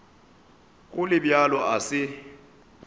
go le bjalo a se